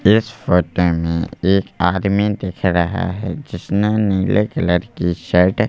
इस फोटो में एक आदमी दिख रहा है जिसने नीले कलर की शर्ट --